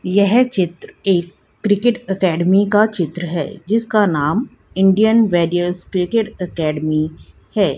यह चित्र एक क्रिकेट अकॅडमी का चित्र हैं जिसका नाम इंडियन वेरियस क्रिकेट अकॅडमी हैं।